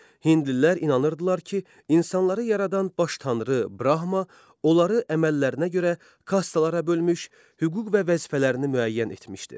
Hindlilər inanırdılar ki, insanları yaradan baş tanrı Brahma onları əməllərinə görə kastlara bölmüş, hüquq və vəzifələrini müəyyən etmişdir.